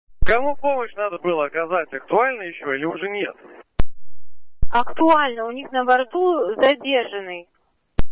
кому помощь надо было оказать актуально ещё или нет актуально у них на борту задержанный